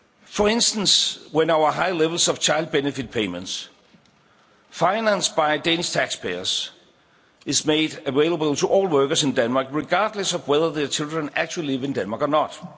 For instance, our high levels of child benefit payments financed by Danish tax payers are made available to all workers in Denmark, regardless of whether their children actually live in Denmark or not.